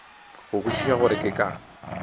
go kwešiša gore ke ka